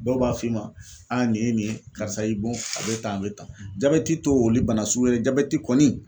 Dɔw b'a f'i ma nin ye nin ye karisa y'i bon a bɛ tan a bɛ tan, jabɛti to olu bana suguye dɛ jabɛti kɔni.